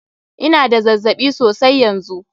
Ina da zazzaɓi sosai yanzu.